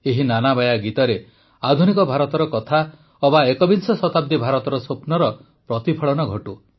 ଏହି ନାନାବାୟା ଗୀତରେ ଆଧୁନିକ ଭାରତର କଥା ଅବା ଏକବିଂଶ ଶତାବ୍ଦୀ ଭାରତର ସ୍ୱପ୍ନର ପ୍ରତିଫଳନ ହେଉ